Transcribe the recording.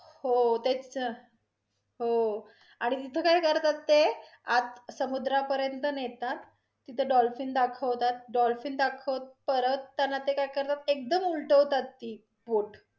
हो तेचं न हो, आणि तिथे काय करतात ते, आत समुद्रा पर्यंत नेतात तिथे dolphin दाखवतात dolphin दाखवत परत, त्यांना ते काय करतात एकदम उलटे होतात ते, पोट